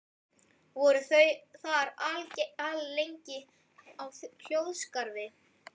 Voru þau þar alllengi á hljóðskrafi.